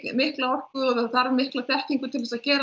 mikla orku og það þarf mikla þekkingu til að gera